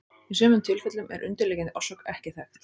Í sumum tilfellum er undirliggjandi orsök ekki þekkt.